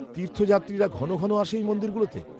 -তীর্থযাত্রীরা ঘন ঘন আসে এই মন্দিরগুলোতে?